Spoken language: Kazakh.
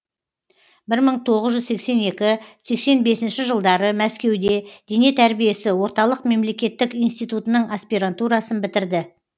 бір мың тоғыз жүз сексен екі сексен бесінші жылдары мәскеуде дене тәрбиесі орталық мемлекеттік институтының аспирантурасын бітірді